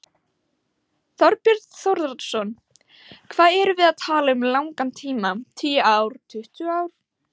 Þorbjörn Þórðarson: Hvað erum við að tala um langan tíma, tíu ár, tuttugu ár?